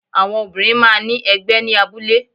Àwọn Obìnrin máa ní ẹgbẹ́ ní abúlé